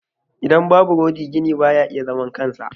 Idan babu rodi gini ba ya iya zaman kansa.